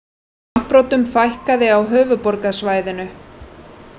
Afbrotum fækkaði á höfuðborgarsvæðinu